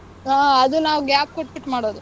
ಹ್ಮ್, ಅದು ನಾವ್ gap ಕೊಟ್ಬಿಟ್ ಮಾಡೊದು.